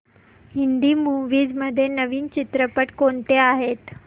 Hindi movies मध्ये नवीन चित्रपट कोणते आहेत